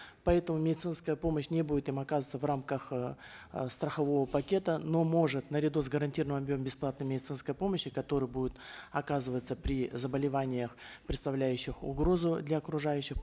поэтому медицинская помощь не будет им оказываться в рамках эээ страхового пакета но может наряду с гарантированным объемом бесплатной медицинской помощи которая будет оказываться при заболеваниях представляющих угрозу для окружающих